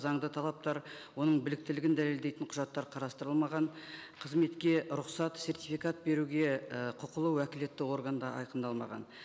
заңды талаптар оның біліктілігін дәлелдейтін құжаттар қарастырылмаған қызметке рұқсат сертификат беруге і құқылы уәкілетті орган да айқындалмаған